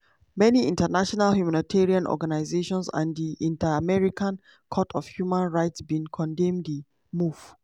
many international humanitarian organisations and di inter-american court of human rights bin condemn di move.